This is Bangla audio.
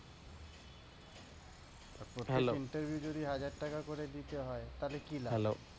আর প্রতি টা interview যদি হাজার টাকা করে দিতে হয় তালে কি লাভ?